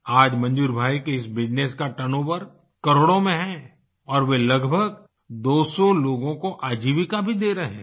आज मंजूर भाई के इस बिजनेस का टर्नओवर करोड़ों में है और वे लगभग दोसौ लोगों को आजीविका भी दे रहे हैं